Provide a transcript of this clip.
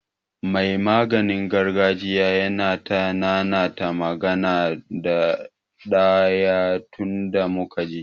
Mai maganin gargajiya yana ta nanata magana ɗaya tunda muka je.